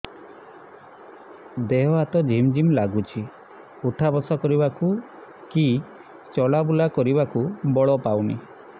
ଦେହେ ହାତ ଝିମ୍ ଝିମ୍ ଲାଗୁଚି ଉଠା ବସା କରିବାକୁ କି ଚଲା ବୁଲା କରିବାକୁ ବଳ ପାଉନି